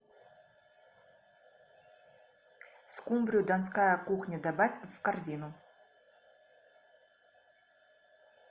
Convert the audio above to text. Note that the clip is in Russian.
скумбрию донская кухня добавь в корзину